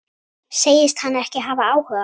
Segist hann ekki hafa áhuga?